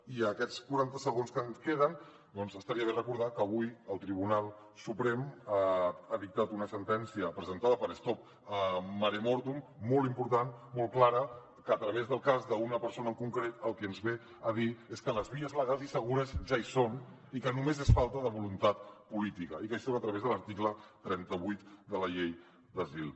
i en aquests quaranta segons que ens queden doncs estaria bé recordar que avui el tribunal suprem ha dictat una sentència presentada per stop mare mortum molt important molt clara que a través del cas d’una persona en concret el que ens ve a dir és que les vies legals i segures ja hi són i que només és falta de voluntat política i que això és a través de l’article trenta vuit de la llei d’asil